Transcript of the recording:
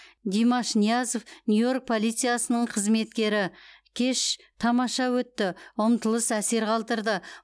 димаш ниязов нью йорк полициясының қызметкері кеш тамаша өтті ұмтылыс әсер қалдырды